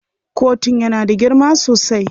Kotun yana da girma sosai.